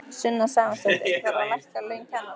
Sunna Sæmundsdóttir: Þarf að hækka laun kennara?